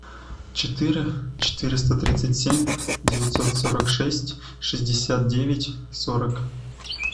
четыре четыреста тридцать семь девятьсот сорок шесть шестьдесят девять сорок